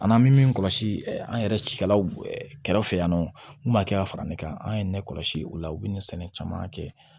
An n'an bɛ min kɔlɔsi an yɛrɛ cikɛlaw kɛrɛfɛ yan nɔ n'a kɛra ne kan an ye ne kɔlɔsi o la u bɛ nin sɛnɛ caman kɛ